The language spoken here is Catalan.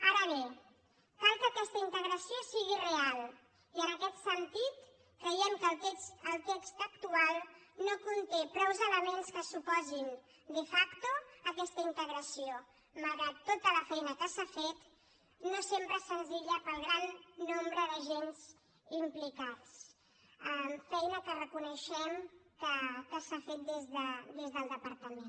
ara bé cal que aquesta integració sigui real i en aquest sentit creiem que el text actual no conté prou elements que suposin de factoque s’ha fet no sempre és senzilla pel gran nombre d’agents implicats feina que reconeixem que s’ha fet des del departament